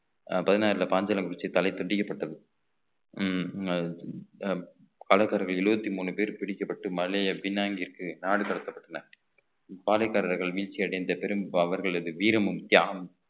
அஹ் பதினாறுல பாஞ்சாலங்குறிச்சி தலை துண்டிக்கப்பட்டது உம் கடைக்காரர்கள் எழுபத்தி மூணு பேர் பிடிக்கப்பட்டு மலை பினாங்கிற்கு நாடு கடத்தப்பட்டன பாளையக்காரர்கள் வீழ்ச்சி அடைந்த பெரும் அவர்களது வீரமும் தியாகமும்